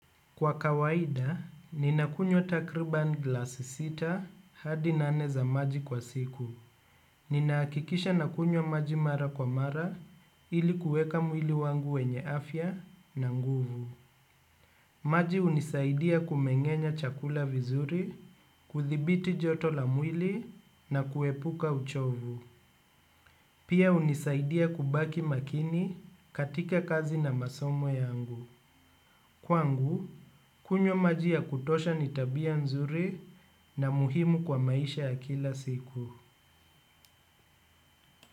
Kwa kawaida, ninakunywa takriban glasi sita hadi nane za maji kwa siku. Ninaakikisha nakunyo maji mara kwa mara ilikuweka mwili wangu wenye afya na nguvu. Maji unisaidia kumengenya chakula vizuri, kuthibiti joto la mwili na kuepuka uchovu. Pia unisaidia kubaki makini katika kazi na masomo yangu. Kwangu, kunywa majia kutosha ni tabia nzuri na muhimu kwa maisha ya kila siku.